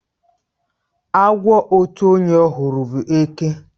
Agwo otu onye hụrụ bụ eke.